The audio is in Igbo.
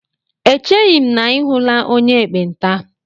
Echeghi m na I hụla onye ekpenta